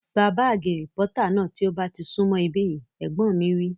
Gba bààgì rìpọ́tà náà tí ó bá ti sún mọ̀ ibí yìí! Ẹ̀gbọ́n mi wí